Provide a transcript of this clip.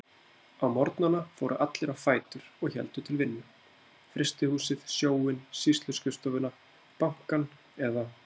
Á morgnana fóru allir á fætur og héldu til vinnu: Frystihúsið, Sjóinn, Sýsluskrifstofuna, Bankann eða